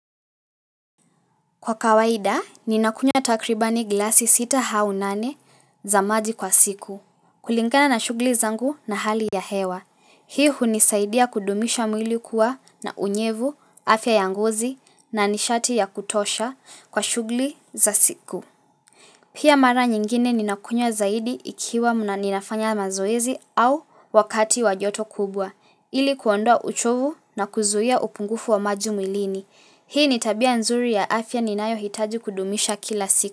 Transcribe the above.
Kwa kawaida, ninakunywa takribani glasi sita au nane za maji kwa siku. Kulingana na shughuli zangu na hali ya hewa. Hii hunisaidia kudumisha mwili kuwa na unyevu, afya ya ngozi na nishati ya kutosha kwa shughuli za siku. Pia mara nyingine ninakunya zaidi ikiwa ninafanya mazoezi au wakati wa joto kubwa. Ili kuondwa uchovu na kuzuia upungufu wa maji mwilini. Hii ni tabia nzuri ya afya ninayohitaji kudumisha kila siku.